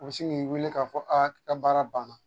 A si ŋ'i weele k'a fɔ aa i ka baara banna.